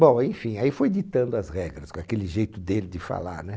Bom, enfim, aí foi ditando as regras, com aquele jeito dele de falar, né?